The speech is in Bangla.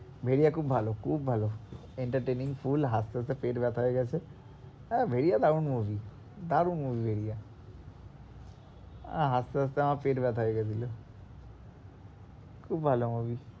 ভেরিয়া খুব ভালো, খুব ভালো entertaining full হাসতে-হাসতে পেট ব্যাথা হয়ে গেছে আহ ভেরিয়া দারুন movie দারুন movie ভেরিয়া আহ হাসতে-হাসতে আমার পেট ব্যাথা হয়ে গিয়েছিলো খুব ভালো movie